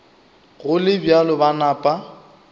go le bjalo ba napa